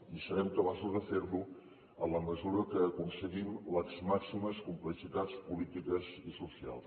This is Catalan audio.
i serem capaços de ferlo en la mesura que aconseguim les màximes complicitats polítiques i socials